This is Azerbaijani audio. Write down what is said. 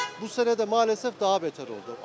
Bu sənə də maalesef daha betər oldu.